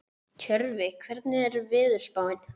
Tjörvi, hvernig er veðurspáin?